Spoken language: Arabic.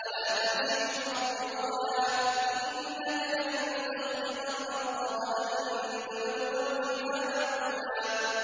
وَلَا تَمْشِ فِي الْأَرْضِ مَرَحًا ۖ إِنَّكَ لَن تَخْرِقَ الْأَرْضَ وَلَن تَبْلُغَ الْجِبَالَ طُولًا